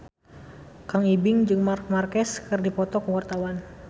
Kang Ibing jeung Marc Marquez keur dipoto ku wartawan